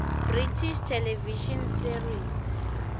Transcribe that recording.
british television series